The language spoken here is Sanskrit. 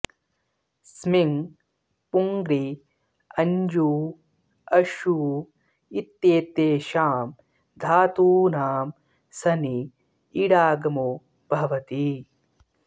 स्मिङ् पूङृ अञ्जू अशू इत्येतेषां धातूनां सनि इडागमो भवति